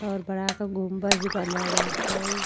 और बढ़ाक गुंबज बना बाटे।